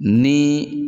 Ni